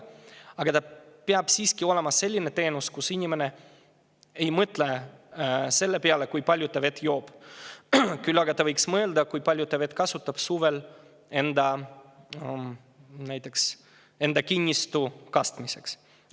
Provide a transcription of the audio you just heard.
Aga see peab siiski olema selline teenus, mille puhul inimene ei mõtle selle peale, kui palju ta vett joob, küll aga ta võiks mõelda, kui palju ta vett kasutab suvel näiteks enda kinnistu kastmiseks.